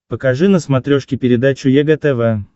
покажи на смотрешке передачу егэ тв